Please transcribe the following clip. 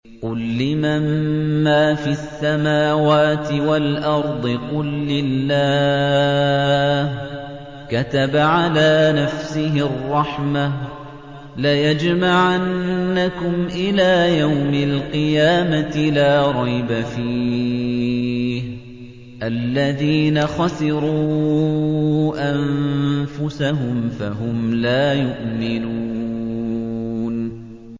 قُل لِّمَن مَّا فِي السَّمَاوَاتِ وَالْأَرْضِ ۖ قُل لِّلَّهِ ۚ كَتَبَ عَلَىٰ نَفْسِهِ الرَّحْمَةَ ۚ لَيَجْمَعَنَّكُمْ إِلَىٰ يَوْمِ الْقِيَامَةِ لَا رَيْبَ فِيهِ ۚ الَّذِينَ خَسِرُوا أَنفُسَهُمْ فَهُمْ لَا يُؤْمِنُونَ